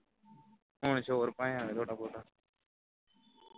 ਹੁਣ ਸ਼ੋਰ ਪਾਇਆ ਹੈ ਥੋੜਾ ਬਹੁਤਾ